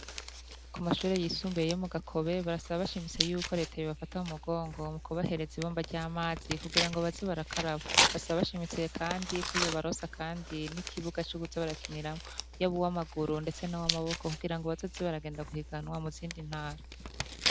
Kumashure yisumbuye yo mugakobe barasaba bashimitse yuko Leta yobafata mumugongo mukubahereza ibomba ry’amazi kugirango baze barakaraba , basaba bashinitse Kandi ko yobaronsa kandi n’ikibuga co kuza barakiniramwo, yabuw’amaguru ndetse nuw’amaboko kugirango bazoze baragenda guhiganwa muzindi ntara.